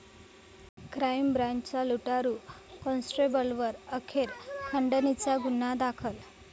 crime ब्रांच'च्या लुटारू कॉन्स्टेबलवर अखेर खंडणीचा गुन्हा दाखल